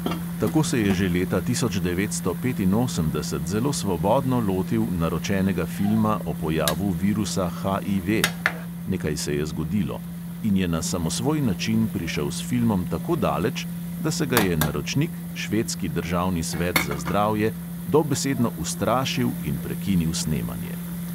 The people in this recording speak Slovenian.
Tako se je že leta tisoč devetsto petinosemdeset zelo svobodno lotil naročenega filma o pojavu virusa HIV" (nekaj se je zgodilo) in je na samosvoj način prišel s filmom tako daleč, da se ga je naročnik, švedski državni svet za zdravje, dobesedno ustrašil in prekinil snemanje.